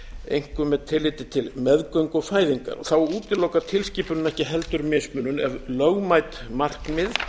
einkum með tilliti til meðgöngu og fæðingar þá útilokar tilskipunin ekki heldur mismunun ef lögmæt markmið